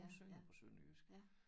Hun synger på sønderjysk